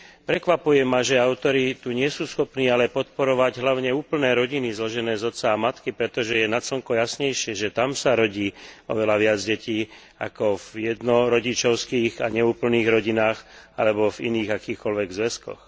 Prekvapuje ma, že autori tu ale nie sú schopní podporovať hlavne úplné rodiny zložené z otca a matky, pretože je nad slnko jasnejšie, že tam sa rodí oveľa viac detí ako v jednorodičovských a neúplných rodinách alebo v iných, akýchkoľvek zväzkoch.